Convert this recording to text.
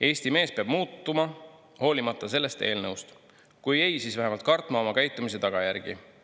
Eesti mees peab muutuma, hoolimata sellest eelnõust, kui ei, siis vähemalt kartma oma käitumise tagajärgi.